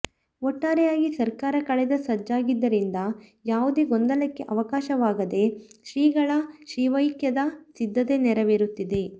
ಒಟ್ಟಾರೆಯಾಗಿ ಸರ್ಕಾರ ಕಳೆದ ಸಜ್ಜಾಗಿದ್ದರಿಂದ ಯಾವುದೇ ಗೊಂದಲಕ್ಕೆ ಅವಕಾಶವಾಗದೆ ಶ್ರೀಗಳ ಶಿವೈಕ್ಯದ ಸಿದ್ಧತೆ ನೆರವೇರುತ್ತಿದೆ